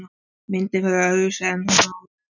Myndin verður öðruvísi en hún á að vera.